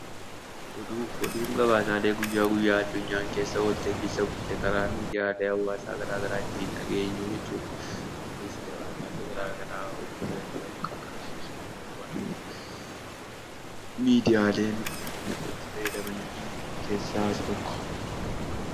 Oduun gabaasaalee guyya guyyaa addunyaan keessa ooltee fi bulte karaa miidiyaalee hawaasaa garaa garaa ittiin dhageenyu jechuudha. Kunis gabaasaalee miidiyaan itti fayyadaman keessaa isa tokko.